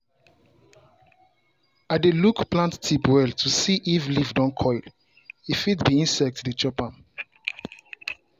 i dey look plant tip well to see if leaf don curl — e fit be insect dey chop am.